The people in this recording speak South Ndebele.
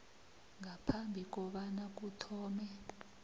ngaphambi kobana kuthome